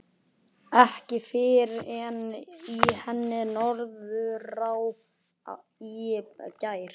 Ekki fyrr en í henni Norðurá í gær.